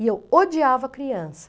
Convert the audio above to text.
E eu odiava criança.